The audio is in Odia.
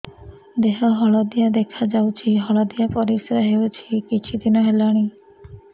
ଦେହ ହଳଦିଆ ଦେଖାଯାଉଛି ହଳଦିଆ ପରିଶ୍ରା ହେଉଛି କିଛିଦିନ ହେଲାଣି